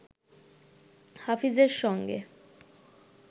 হাফিজের সঙ্গে